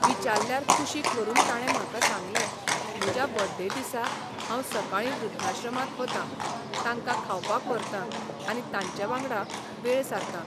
विचाल्ल्यार कुशीक व्हरून ताणे म्हाका सांगलें म्हज्या बर्थडे दिसा हांव सकाळी वृद्धाश्रमांत बतां तांकां खावपाक व्हरतां आनी तांचे बांगडा वेळ सारतां.